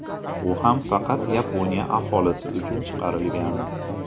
U ham faqat Yaponiya aholisi uchun chiqarilgan.